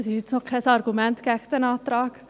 Das ist noch kein Argument gegen diesen Antrag.